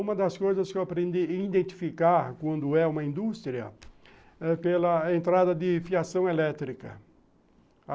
Uma das coisas que eu aprendi a identificar quando é uma indústria é pela entrada de fiação elétrica.